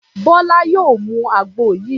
Bólú yóò mu àgbo yìí.